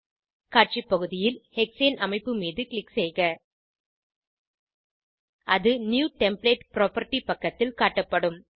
காட்சி பகுதியில் hexane hexane அமைப்பு மீது க்ளிக் செய்க அது நியூ டெம்ப்ளேட் புராப்பர்ட்டி பக்கதில் காட்டப்படும்